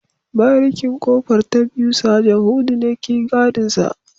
Barikin kofar ta biyu Sajan hudu ne ke gadinsa